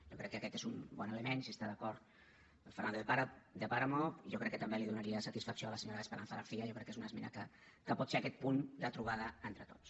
jo crec que aquest és un bon element si hi està d’acord el fernando de páramo jo crec que també li donaria satisfacció a la senyora esperanza garcía jo crec que és una esmena que pot ser aquest punt de trobada entre tots